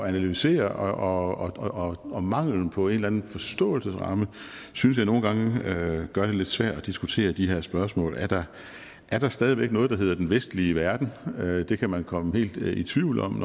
analysere og og manglen på en eller anden forståelsesramme synes jeg nogle gange gør det lidt svært at diskutere de her spørgsmål er der er der stadig væk noget der hedder den vestlige verden det kan man komme helt i tvivl om